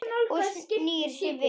Og snýr sér við.